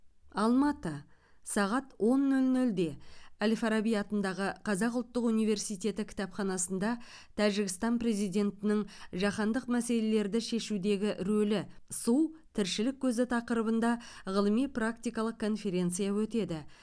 алматы сағат он нөл нөлде әл фараби атындағы қазақ ұлттық университеті кітапханасында тәжікстан президентінің жаһандық мәселелерді шешудегі рөлі су тіршілік көзі тақырыбында ғылыми практикалық конференция өтеді